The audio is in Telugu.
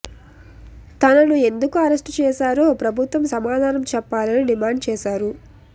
తనను ఎందుకు అరెస్ట్ చేశారో ప్రభుత్వం సమాధానం చెప్పాలని డిమాండ్ చేశారు